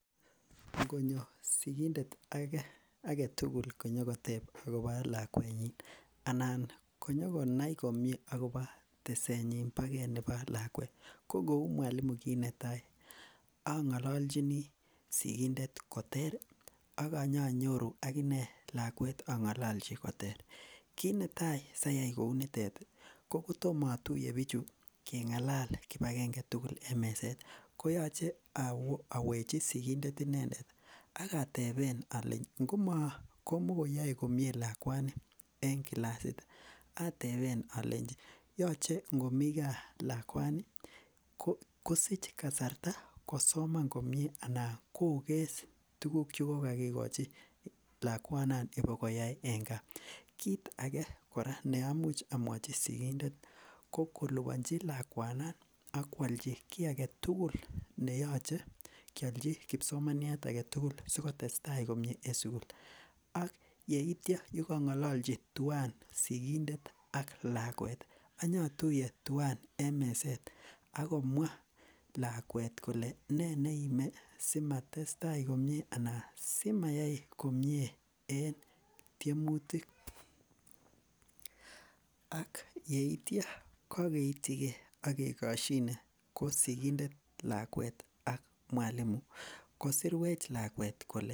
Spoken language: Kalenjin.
Ngonyor sigindet agetugul konyokotep akobo lakwenyin anan konyikonai komyee akoba tesenyin bogei nebo lakwet ko kou mwalimu kiit netai ang'alanjini sigindet koter akonyanyoru akine lakwet akang'ololji koter kiit netai sayai kkou nitet ko kotom atuye bichu king'alal kipakenge tugul eng' meset koyoche awechi sikindet inendet akateben ale ngomikoyoe komye lakwani eng' klasit atebe ale yochei ngomi kaa lakwani kosich kasarta kosoman komyee anan kokes tukuk chekokakikochi lakwana kobikoyai eng' kaa kiit age kora ne amuch amwachi sigindet ko kolipanji lakwanan akwalji kii agetugul neyoche kiolji kipsomaniat age tugul sikotestai komyee en sukul ak ye ityo kipang'ololji tuwai sikindet ak lakwet anyatuiye tuwan en meset ako mwa lakwet kole nee neime simatestai komyee anan simayai komyee en tiemutik ak yeityo kakeityikei ak kekoshine ko sikindet lakwet ak mwalimu kosirwech lakwet kole